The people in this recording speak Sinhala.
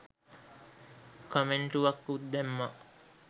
කමෙන්ටුවකුත් දැම්මා